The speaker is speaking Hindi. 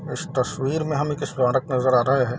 इस तस्वीर में हमें एक स्मारक नजर आ रहे हैं।